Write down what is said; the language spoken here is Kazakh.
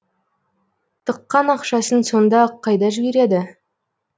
тыққан ақшасын сонда қайда жібереді